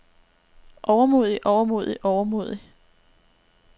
overmodig overmodig overmodig